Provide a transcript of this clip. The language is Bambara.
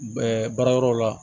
baara yɔrɔw la